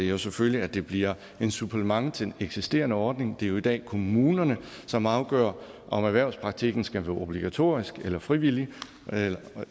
er selvfølgelig at det bliver et supplement til den eksisterende ordning det er jo i dag kommunerne som afgør om erhvervspraktikken skal være obligatorisk eller frivillig